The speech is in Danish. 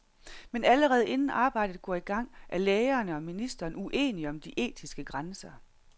Men allerede inden arbejdet går i gang, er lægerne og ministeren uenige om de etiske grænser.